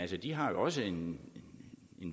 ja de har jo også en